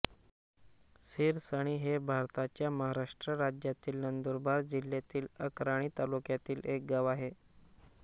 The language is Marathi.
सिरसणी हे भारताच्या महाराष्ट्र राज्यातील नंदुरबार जिल्ह्यातील अक्राणी तालुक्यातील एक गाव आहे